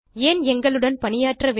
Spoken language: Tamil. ஏன் எங்களுடன் பணியாற்ற வேண்டும்